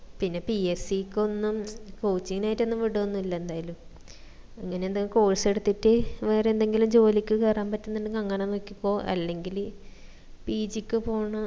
പിന്നാ PSC ക്കൊന്നും coaching നായിട്ട് ഒന്നും വിടുഒന്നും ഇല്ല എന്തായാലും ഇങ്ങനെ എന്തേലും course എടുത്തിട്ട് വേറെ എന്തെങ്കിലും ജോലിക്ക് കേറാൻ പറ്റുന്നുണ്ടെങ്കിൽ അങ്ങനെ നോക്കിക്കോ അല്ലെങ്കില് pg പോണം